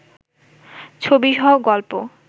ছবি সহ গল্প